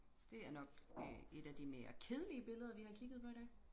Det er nok øh et af de mere kedelige billeder vi har kigget på i dag